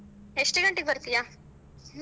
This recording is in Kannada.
ಎಷ್ಟ ಗಂಟೆಗ್ ಬರ್ತೀಯಾ?